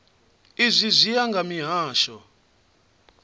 izwi zwi ya nga mihasho